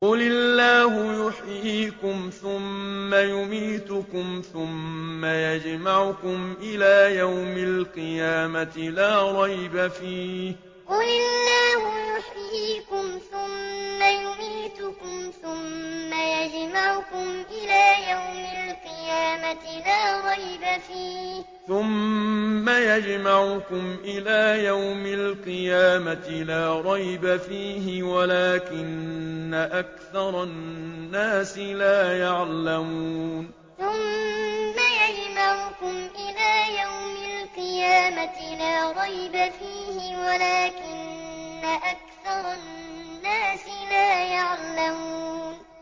قُلِ اللَّهُ يُحْيِيكُمْ ثُمَّ يُمِيتُكُمْ ثُمَّ يَجْمَعُكُمْ إِلَىٰ يَوْمِ الْقِيَامَةِ لَا رَيْبَ فِيهِ وَلَٰكِنَّ أَكْثَرَ النَّاسِ لَا يَعْلَمُونَ قُلِ اللَّهُ يُحْيِيكُمْ ثُمَّ يُمِيتُكُمْ ثُمَّ يَجْمَعُكُمْ إِلَىٰ يَوْمِ الْقِيَامَةِ لَا رَيْبَ فِيهِ وَلَٰكِنَّ أَكْثَرَ النَّاسِ لَا يَعْلَمُونَ